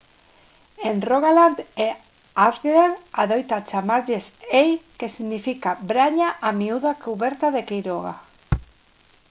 en rogaland e agder adoita chamárselles «hei» que significa braña a miúdo cuberta de queiroga